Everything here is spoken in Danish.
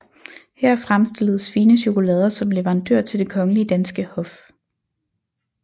Her fremstilledes fine chokolader som leverandør til det kongelige danske hof